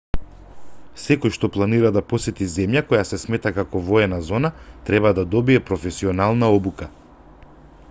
секој што планира да посети земја која се смета како воена зона треба да добие професионална обука